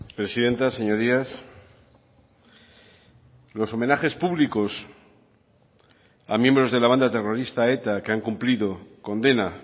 presidenta señorías los homenajes públicos a miembros de la banda terrorista eta que han cumplido condena